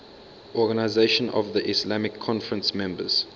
organisation of the islamic conference members